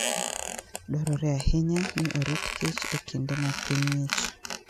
Dwarore ahinya ni orit kich e kinde ma piny ng'ich.